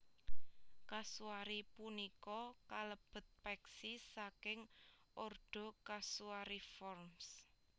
Kasuari punika kalebet peksi saking ordo Casuariiformes